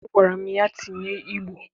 Agwara m ya tinye Igbo!